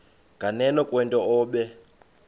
nganeno kwento obe